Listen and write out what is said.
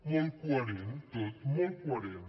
molt coherent tot molt coherent